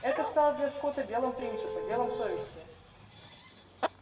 это стало для скотта делом принципа делом совести